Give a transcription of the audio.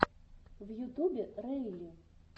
в ютубе рэйли